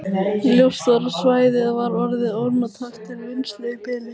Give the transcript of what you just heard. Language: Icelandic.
Ljóst var að svæðið var orðið ónothæft til vinnslu í bili.